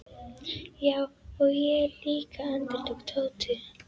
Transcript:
Já, og ég líka endurtók Tóti.